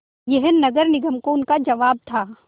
यह नगर निगम को उनका जवाब था